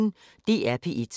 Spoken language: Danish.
DR P1